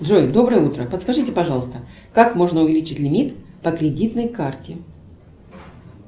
джой доброе утро подскажите пожалуйста как можно увеличить лимит по кредитной карте